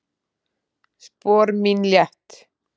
Spor mín létt.